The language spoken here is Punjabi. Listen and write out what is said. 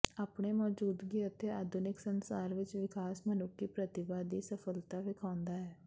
ਆਪਣੇ ਮੌਜੂਦਗੀ ਅਤੇ ਆਧੁਨਿਕ ਸੰਸਾਰ ਵਿੱਚ ਵਿਕਾਸ ਮਨੁੱਖੀ ਪ੍ਰਤੀਭਾ ਦੀ ਸਫਲਤਾ ਵੇਖਾਉਦਾ ਹੈ